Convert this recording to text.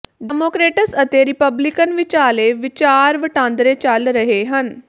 Democrats ਅਤੇ Republican ਵਿਚਾਲੇ ਵਿਚਾਰ ਵਟਾਂਦਰੇ ਚੱਲ ਰਹੇ ਹਨ